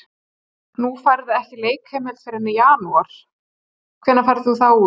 Nú færðu ekki leikheimild fyrr en í janúar, hvenær ferðu þá út?